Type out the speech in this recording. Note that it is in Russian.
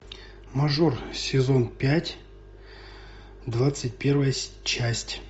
мажор сезон пять двадцать первая часть